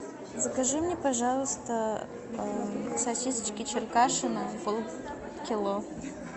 закажи мне пожалуйста сосисочки черкашино полкило